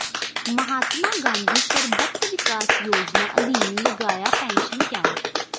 ਮਹਾਤਮਾ ਗਾਂਧੀ ਸਰਬੱਤ ਵਿਕਾਸ ਯੋਜਨਾ ਅਧੀਨ ਲਗਾਇਆ pension camp